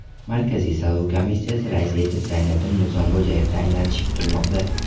Markaziy saylov komissiyasi raisi etib Zayniddin Nizomxo‘jayev tayinlanishi kutilmoqda.